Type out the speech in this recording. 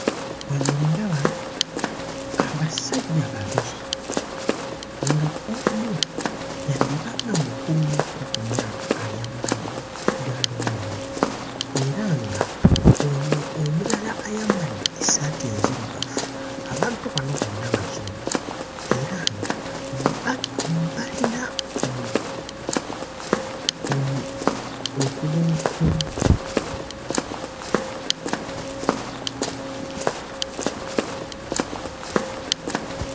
Wano ndaba abasajja babiri nga omu yandiba nga mukulumukko ku myaka ayambadde ggaalubindi era nga ono omulala ayambadde essaati enzirugavu abantu bano bonna Bazungu era nga ba balina ku umu okugulu ku.